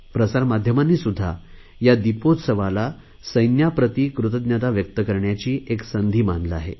प्रसार माध्यमांनीसुध्दा या दिपोत्सवाला सैन्याप्रती कृतज्ञता व्यक्त करण्याची एक संधी मानले आहे